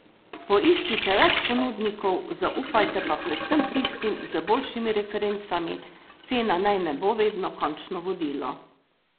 Poiščite več ponudnikov, zaupajte pa predvsem tistim z boljšimi referencami, cena naj ne bo vedno končno vodilo.